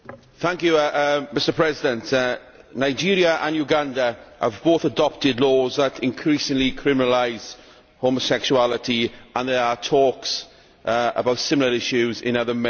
Mr President, Nigeria and Uganda have both adopted laws that increasingly criminalise homosexuality, and there are talks about similar issues in other Member States.